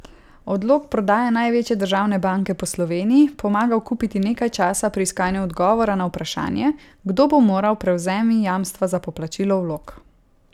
Odlog prodaje največje državne banke bo Sloveniji pomagal kupiti nekaj časa pri iskanju odgovora na vprašanje, kdo bo moral prevzemi jamstva za poplačilo vlog.